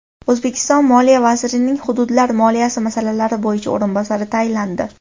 O‘zbekiston Moliya vazirining Hududlar moliyasi masalalari bo‘yicha o‘rinbosari tayinlandi.